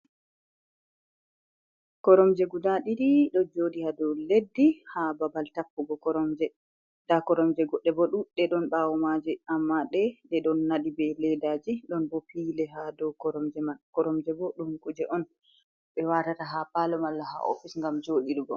Koromje guda ɗiɗi ɗo joɗi ha dou leddi ha babal tappugo koromje. Nda koromje goɗɗe bo duɗɗe ɗon ɓawo maje. Amma ɗe, ɗe ɗon naɗi be leddaji. Ɗon bo pillow ha dou koromje man. Koromje bo ɗum kuje on ɓe watata ha parlo, malla ha office ngam joɗirgo.